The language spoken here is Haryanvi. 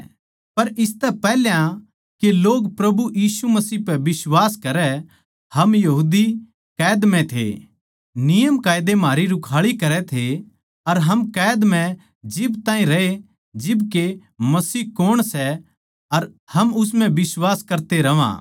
पर इसतै पैहल्या के लोग प्रभु यीशु मसीह पै बिश्वास करै हम यहूदी कैद म्ह थे नियमकायदे म्हारी रुखाळी करै थे हम कैद म्ह जिब ताहीं रहे जिब के मसीह कौण सै अर हम उस म्ह बिश्वास करते रहवां